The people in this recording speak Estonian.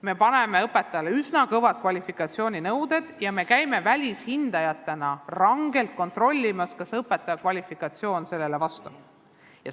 Me kehtestame õpetajatele üsna ranged kvalifikatsiooninõuded ja käime välishindajatena rangelt kontrollimas, kas õpetaja kvalifikatsioon nendele nõuetele vastab.